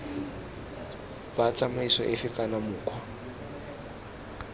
b tsamaiso efe kana mokgwa